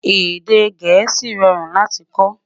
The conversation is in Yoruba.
Èdè gèésì rọrùn láti kò